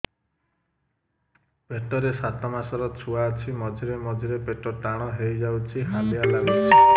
ପେଟ ରେ ସାତମାସର ଛୁଆ ଅଛି ମଝିରେ ମଝିରେ ପେଟ ଟାଣ ହେଇଯାଉଚି ହାଲିଆ ଲାଗୁଚି